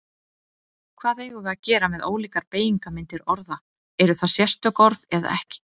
Hvað eigum við að gera með ólíkar beygingarmyndir orða, eru það sérstök orð eða ekki?